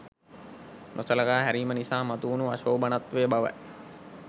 නොසලකා හැරීම නිසා මතුවුණු අශෝභනත්වය බවයි